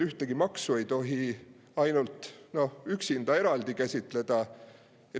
Ühtegi maksu ei tohi üksinda käsitleda.